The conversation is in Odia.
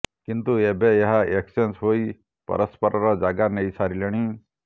କିନ୍ତୁ ଏବେ ଏହା ଏକ୍ସଚେଞ୍ଜ ହୋଇ ପରସ୍ପରର ଜାଗା ନେଇସାରିଲେଣି